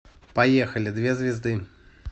поехали две звезды